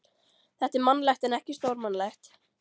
Þetta er mannlegt en ekki stórmannlegt.